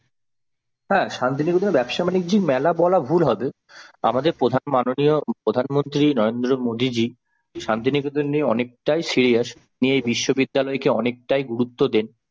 হ্যাঁ শান্তিনিকেতনে ব্যবসা-বাণিজ্যিক মেলা বলা ভুল হবে আমাদের প্রধান মাননীয় প্রধানমন্ত্রী নরেন্দ্র মোদি জি শান্তিনিকেতন নিয়ে অনেকটাই sirious তিনি এই বিশ্ববিদ্যালয়কে অনেকটাই গুরুত্ব দেন।